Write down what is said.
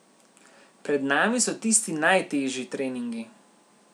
Pred nami so tisti najtežji treningi.